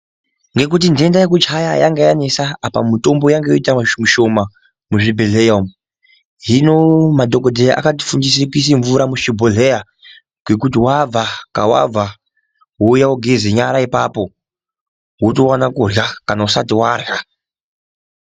Nekuti ntenda yekuchaya yanga yanetsa apo mitombo yanga yoita mishoma muzvibhedhleya umwo hino madhokodheya akatifundise kuise mvura muzvibhodhleya yekuti wabva kwawabva wouya wogeze nyara ipapo wotwana kurya kana usati warya.